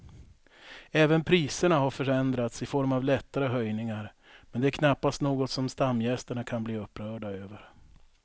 Även priserna har förändrats i form av lättare höjningar men det är knappast något som stamgästerna kan bli upprörda över.